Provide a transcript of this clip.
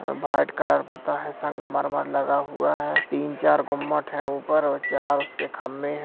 और white colour पुता है संगमर्मर लगा हुआ है तीन-चार गुम्मट हैं ऊपर और चार उसके खंभे हैं।